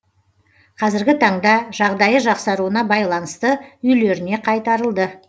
қазіргі таңда жағдайы жақсаруына байланысты үйлеріне қайтарылды